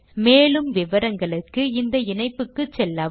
மேலும் விவரங்களுக்கு 1 தமிழாக்கம் பிரியா